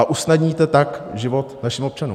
A usnadníte tak život našim občanům.